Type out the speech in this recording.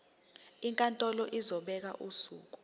inkantolo izobeka usuku